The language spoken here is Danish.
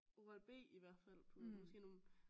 Oral-B i hvert fald på det er måske nogle